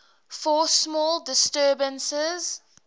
for small disturbances